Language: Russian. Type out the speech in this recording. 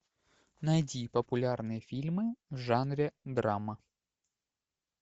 найди популярные фильмы в жанре драма